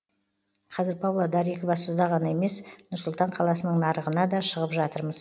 қазір павлодар екібастұзда ғана емес нұр сұлтан қаласының нарығына да шығып жатырмыз